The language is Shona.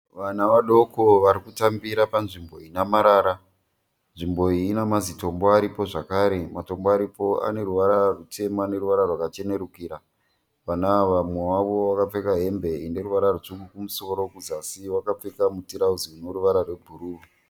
Vana vadoko varikutambira panzvimbo inamarara nzvimbo iyi inamazitombo aripo zvakare matombo aripo aneruvara rutema neruvara rwakachenurukira vana awa mumwe vavo akapfeka hembe ineruvara rutsvuku kumusoro kuzasi vakapfeka mutarauzi uneruvara rwebhuruu